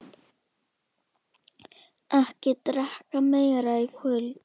Ekki drekka meira í kvöld.